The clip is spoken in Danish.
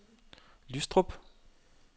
Lystrup